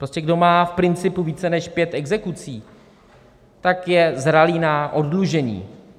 Prostě kdo má v principu více než pět exekucí, tak je zralý na oddlužení.